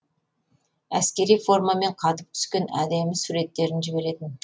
әскери формамен қатып түскен әдемі суреттерін жіберетін